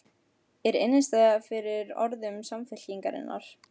Er innistæða fyrir orðum Samfylkingarinnar?